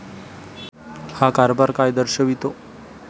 हा कारभार काय दर्शवितो?